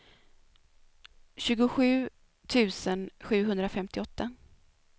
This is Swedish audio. tjugosju tusen sjuhundrafemtioåtta